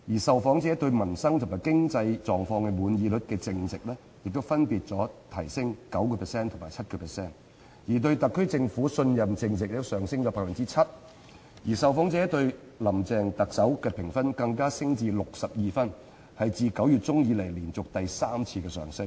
受訪者對民生及對經濟狀況滿意率淨值亦分別上升 9% 及 7%， 對特區政府信任淨值也上升 7%， 受訪者對特首"林鄭"的評分更升至62分，是自9月中以來連續第三次上升。